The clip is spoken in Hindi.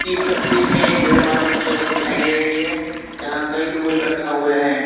इस तस्वीर में एक भीड़ भाड़ वाली जगह दिखाई दे रही है जहां कई लोग इकट्ठा हुए हैं।